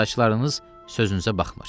Saçlarınız sözünüzə baxmır.